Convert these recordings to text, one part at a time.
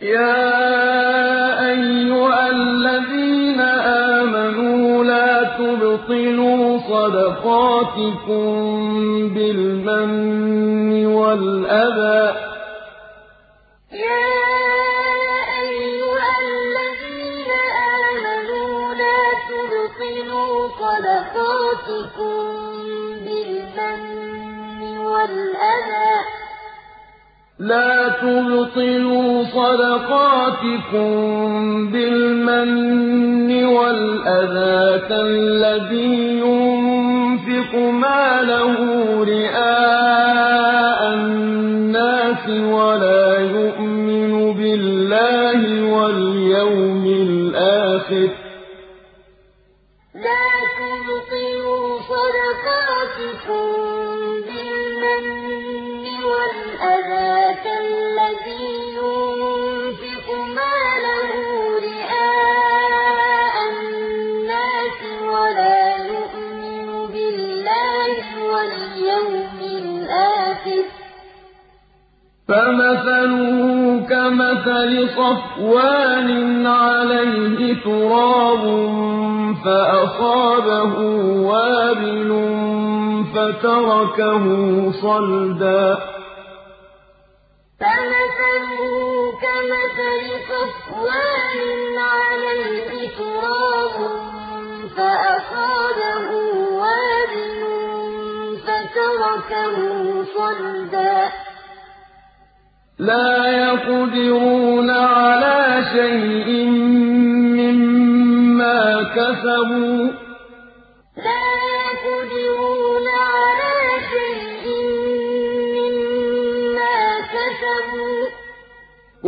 يَا أَيُّهَا الَّذِينَ آمَنُوا لَا تُبْطِلُوا صَدَقَاتِكُم بِالْمَنِّ وَالْأَذَىٰ كَالَّذِي يُنفِقُ مَالَهُ رِئَاءَ النَّاسِ وَلَا يُؤْمِنُ بِاللَّهِ وَالْيَوْمِ الْآخِرِ ۖ فَمَثَلُهُ كَمَثَلِ صَفْوَانٍ عَلَيْهِ تُرَابٌ فَأَصَابَهُ وَابِلٌ فَتَرَكَهُ صَلْدًا ۖ لَّا يَقْدِرُونَ عَلَىٰ شَيْءٍ مِّمَّا كَسَبُوا ۗ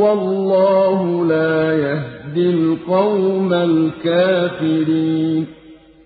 وَاللَّهُ لَا يَهْدِي الْقَوْمَ الْكَافِرِينَ يَا أَيُّهَا الَّذِينَ آمَنُوا لَا تُبْطِلُوا صَدَقَاتِكُم بِالْمَنِّ وَالْأَذَىٰ كَالَّذِي يُنفِقُ مَالَهُ رِئَاءَ النَّاسِ وَلَا يُؤْمِنُ بِاللَّهِ وَالْيَوْمِ الْآخِرِ ۖ فَمَثَلُهُ كَمَثَلِ صَفْوَانٍ عَلَيْهِ تُرَابٌ فَأَصَابَهُ وَابِلٌ فَتَرَكَهُ صَلْدًا ۖ لَّا يَقْدِرُونَ عَلَىٰ شَيْءٍ مِّمَّا كَسَبُوا ۗ وَاللَّهُ لَا يَهْدِي الْقَوْمَ الْكَافِرِينَ